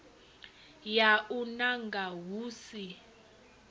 ya u nanga hu si